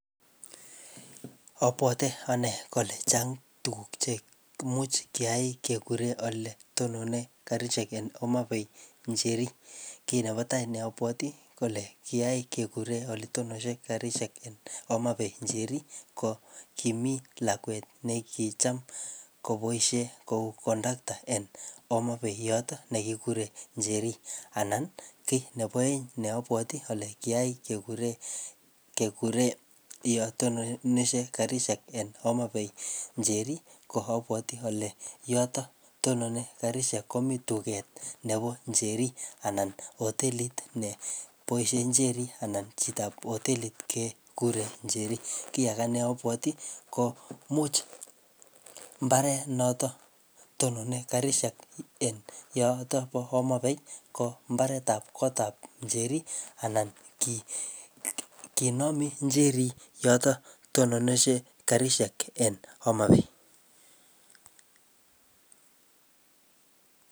Abwoti ane kole chang' tuguk che imuch kiyai kekure ole tonone karisiek en Homabay Njeri. Kiy nebo tai ne abwoti kole kiyai kekure ole tononshe karisiek en Homabay Njeri ko kimi lakwet ne kicham koboisie kou kondakta en Homabay yotok ne kikikure Njeri anan kiy nebo aeng ne abwoti ale kiyai kekure, kekure yo tononishe karishek en Homabay Njeri ko abwoti ale yotok tonone karishek komii duket nebo Njeri anan hotelit ne boisie Njeri anan chitop hotelit kekure Njeri. Kiy age ne abwoti ko much mbaret notok tonone karisiek en yotok bo Homabay ko mbaret ap kot ap njeri anan ki-kinomi Njeri yotok tononishe karisiek en Homabay